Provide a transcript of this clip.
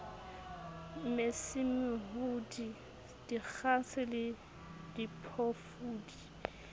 mesi mehudi dikgase le diphofudi